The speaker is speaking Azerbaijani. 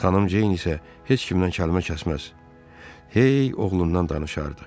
Xanım Ceyn isə heç kimdən kəlmə kəsməz, hey oğlundan danışardı.